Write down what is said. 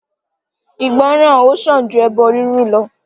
Ìgbọ́ran ó sàn ju ẹbọ rírú lọ.